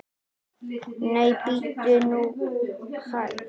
Nei, bíddu nú hæg!